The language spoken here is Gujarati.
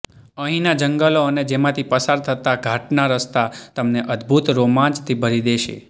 અહીંના જંગલો અને તેમાંથી પસાર થતા ઘાટના રસ્તા તમને અદભૂત રોમાંચથી ભરી દેશે